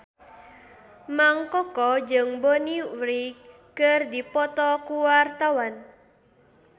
Mang Koko jeung Bonnie Wright keur dipoto ku wartawan